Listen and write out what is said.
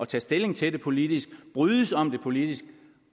tage stilling til det politisk og brydes om det politisk